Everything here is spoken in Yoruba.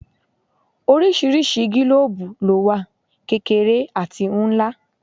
Oríṣiríṣi gílòòòbù lówà: kékeré àti ńlá.